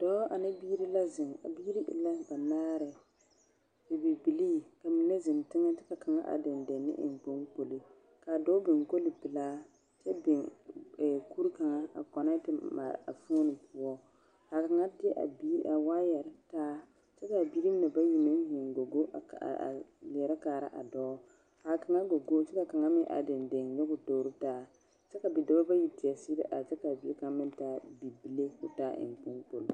Dɔɔ ane biiri la zeŋ. A biiri e la banaare. Bibilbilii, ka mine zeŋ teŋɛ kyɛ ka kaŋa are dendeŋe ne eŋ kpoŋkpoli ka a dɔɔ biŋ kolipelaa kyɛ biŋ ɛɛ kuri kaŋa a kɔnɛɛte mare a fooni poɔ. Ka a ŋa de a bie, a waayɛre taa kyɛ ka biiri mine bayi meŋ gogo a leɛrɛ kaara a dɔɔ. ka kaŋa gogokyɛ ka kaŋa meŋ are dendeŋe nyɔge o mtoori taa kyɛ ka bidɔba bayi teɛ seɛ are kyɛ ka a bie kaŋa meŋ taa bibile ka o taa eŋkpoŋkpoli.